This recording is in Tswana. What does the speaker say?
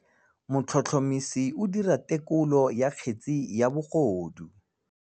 Motlhotlhomisi o dira têkolô ya kgetse ya bogodu.